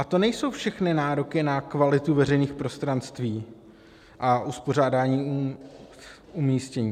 A to nejsou všechny nároky na kvalitu veřejných prostranství a uspořádání umístění.